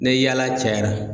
Ni yaala cayara.